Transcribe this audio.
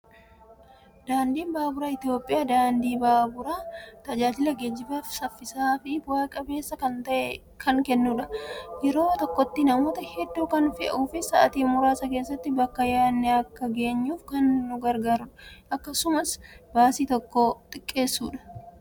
Daandii baaburaa Itoophiyaa. Daandiin baaburaa tajaajila geejjibaa saffisaa fi bu'a qabeessa ta'e kan kennudha. Yeroo tokkotti namoota hedduu kan fe'uu fi sa'atii muraasa keessatti bakka yaadne akka geenyuuf kan kan gargaarudha. Akkasumas baasii kan xiqqeessudha.